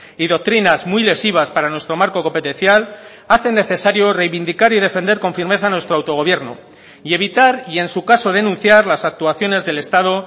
y doctrinas muy lesivas para nuestro marco competencial hacen necesario reivindicar y defender con firmeza nuestro autogobierno y evitar y en su caso denunciar las actuaciones del estado